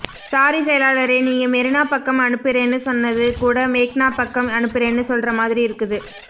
sorry செயலாளரே நீங்க மெரினா பக்கம் அனுப்புறேன்னு சொன்னது கூட மேக்னா பக்கம் அனுப்புறேன்னு சொல்ற மாதிரி இருக்குது